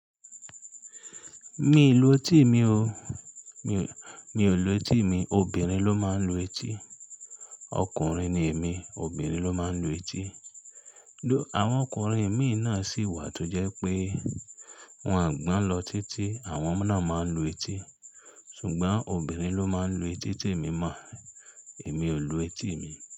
Mi i lu etí mi o. Mii, mi ò lu etí mi, obìnrin ló máa ń lu etí. Ọkùnrin ni èmi, obìnrin ló máa ń lu etí. Àwọn ọkùnrin imí náà sì wà tó jẹ́ pé wọ́n gbọ́n lọ títí, àwọn náà máa ń lu etí. Ṣùgbọ́n obìnrin ló máa ń lu etí temí mọ̀, èmi ò lu etí mi.